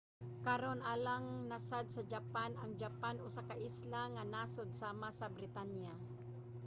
karon alang na sad sa japan. ang japan usa ka isla nga nasod sama sa britanya